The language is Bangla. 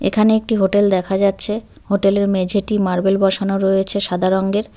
এখানে একটি হোটেল দেখা যাচ্ছে হোটেলের মেঝেটি মার্বেল বসানো রয়েছে সাদা রঙের।